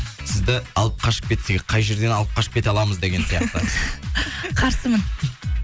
сізді алып қашып кетсе қай жерден алып қашып кете аламыз деген сияқты қарсымын